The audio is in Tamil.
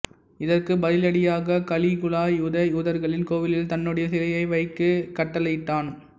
இதற்கு பதிலடியாக கலிகுலா யூத யூதர்களின் கோவிலில் தன்னுடைய சிலையை வைக்க கட்டளையிட்டான்